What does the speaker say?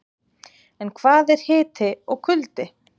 En hvað er hiti og kuldi?.